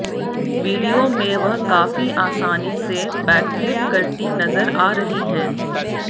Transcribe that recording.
video में वह काफी आसानी से बैकफ्लिप करती नजर आ रही हैं